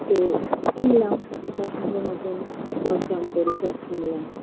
তো কিনলাম পছন্দ মতন দরদাম করে সব কিনলাম